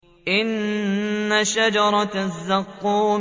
إِنَّ شَجَرَتَ الزَّقُّومِ